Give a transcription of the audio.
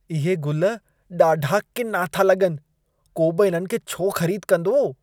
इहे गुल ॾाढा किना था लॻनि। को बि इन्हनि खे छो ख़रीद कंदो?